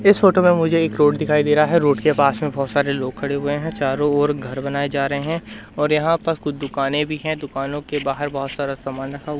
इस फोटो में मुझे एक रोड दिखाई दे रहा है रोड के पास में बहुत सारे लोग खड़े हुए हैं चारों ओर घर बनाए जा रहे हैं और यहां पर कुछ दुकानें भी हैं दुकानों के बाहर बहुत सारा सामान रखा हु--